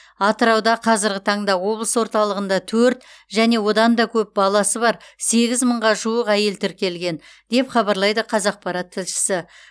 атырауда қазіргі таңда облыс орталығында төрт және одан да көп баласы бар сегіз мыңға жуық әйел тіркелген деп хабарлайды қазақпарат тілшісі